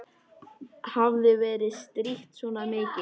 Hafði verið strítt svona mikið.